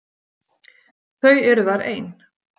Þau eru þar ein.